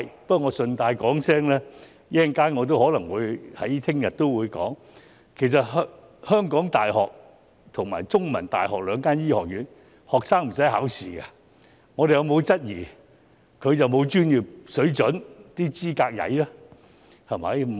不過，我順帶一提，我稍後或明天也可能會說的，其實香港大學及香港中文大學的醫學院學生並不需要考試，我們有否質疑過他們的專業水準及資格欠佳？